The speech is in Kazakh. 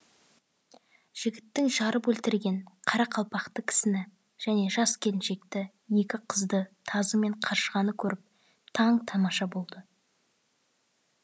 жігіттің жарып өлтірген қара қалпақты кісіні және жас келіншекті екі қызды тазы мен қаршығаны көріп таң тамаша болды